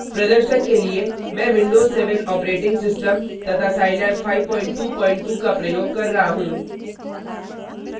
प्रदर्शन के लिए मैं विंडोज 7 ऑपरेटिंग सिस्टम तथा साईलैब scilab 522 का प्रयोग कर रहा हूँ